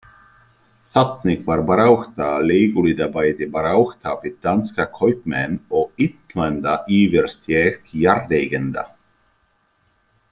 Þannig var barátta leiguliða bæði barátta við danska kaupmenn og innlenda yfirstétt jarðeigenda.